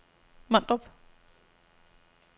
Mondrup